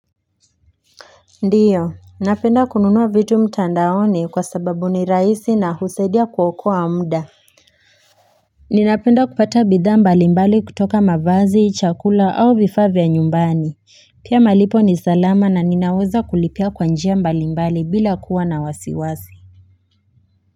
Ndio, napenda kununua vitu mtandaoni kwa sababu ni rahisi na husaidia kuokoa mda. Ninapenda kupata bidhaa mbalimbali kutoka mavazi, chakula au vifaa vya nyumbani. Pia malipo ni salama na ninaweza kulipia kwa njia mbalimbali bila kuwa na wasiwasi.